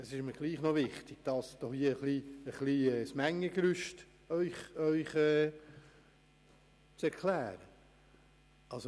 Es ist mir wichtig, Ihnen das Mengengerüst zu erklären.